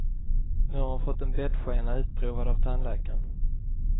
Nu har hon fått en bettskena utprovad av tandläkaren.